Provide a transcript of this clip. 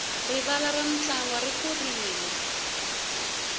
rivala ra mintlangu ri kurile